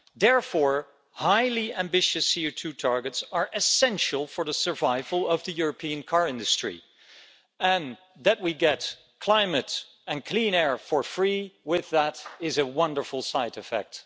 Therefore, highly ambitious CO2 targets are essential for the survival of the European car industry, and that we get climate and clean air for free with that is a wonderful side effect.